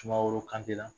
Sumaworo kante la